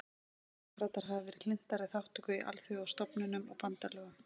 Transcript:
Demókratar hafa verið hlynntari þátttöku í alþjóðastofnunum og bandalögum.